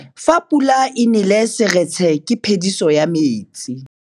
Fa pula e nelê serêtsê ke phêdisô ya metsi.